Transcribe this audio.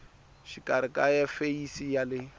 xikarhi na feyisi ya le